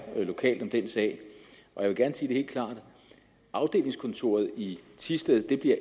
lokalt om den sag jeg vil gerne sige helt klart at afdelingskontoret i thisted